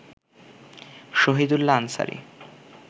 Shahidullah Ansari